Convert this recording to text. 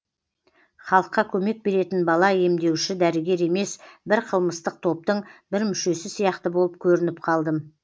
халыққа көмек беретін бала емдеуші дәрігер емес бір қылмыстық топтың бір мүшесі сияқты болып көрініп қалдым